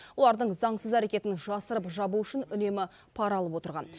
олардың заңсыз әрекетін жасырып жабу үшін үнемі пара алып отырған